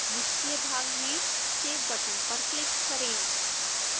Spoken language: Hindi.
निचले भाग में save बटन पर क्लिक करें